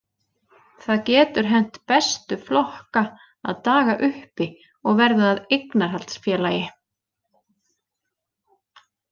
Það getur hent bestu flokka að daga uppi og verða að eignarhaldsfélagi.